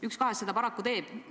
Üks kahest seda paraku teeb.